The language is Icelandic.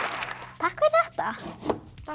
takk fyrir þetta takk